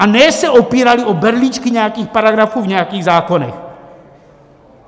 A ne se opírali o berličky nějakých paragrafů v nějakých zákonech.